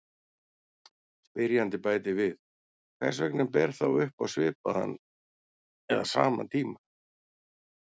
Spyrjandi bætir við: Hvers vegna ber þá upp á svipaðan eða sama tíma?